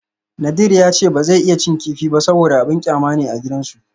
Nadir yana cewa ba zai iya cin kifi ba saboda abin kyama ne a gidansu